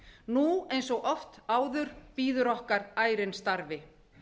nú eins og oft áður bíður okkar ærinn starfi